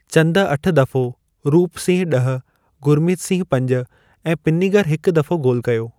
चंद अठ दफ़ो, रूप सिंह ॾह, गुरमीत सिंह पंज ऐं पिन्निगर हिकु दफ़ो गोल कयो।